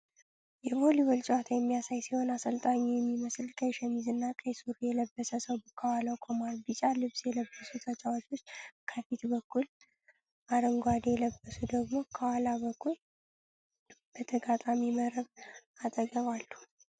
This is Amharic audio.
የቮሊቦል ጨዋታ የሚያሳይ ሲሆን፣ አሰልጣኝ የሚመስል ቀይ ሸሚዝና ቀይ ሱሪ የለበሰ ሰው ከኋላው ቆሟል። ቢጫ ልብስ የለበሱ ተጫዋቾች ከፊት በኩል፣ አረንጓዴ የለበሱ ደግሞ ከኋላ በኩል በተጋጣሚ መረብ አጠገብ አለ።